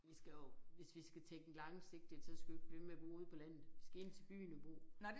Vi skal jo hvis vi skal tænke langsigtet så skal vi jo ikke blive ved med at bo ude på landet vi skal ind til byen og bo